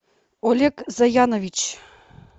олег заянович